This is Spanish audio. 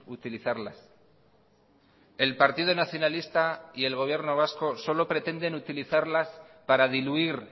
utilizarlas el partido nacionalista y el gobierno vasco solo pretenden utilizarlas para diluir